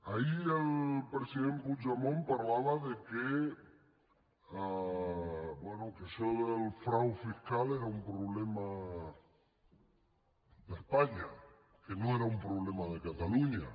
ahir el president puigdemont parlava que bé que això del frau fiscal era un problema d’espanya que no era un problema de catalunya